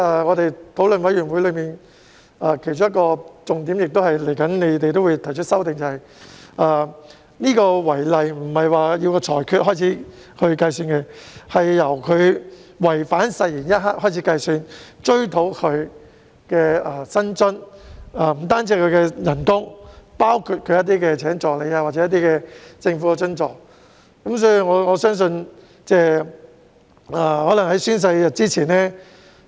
我們在法案委員會上討論的其中一個重點，而當局亦會提出修訂的，是違例並非由法庭裁決開始計算，而是由違反誓言一刻開始計算，而所追討的薪津不只是有關公職人員的薪酬，還包括聘請助理等政府津助。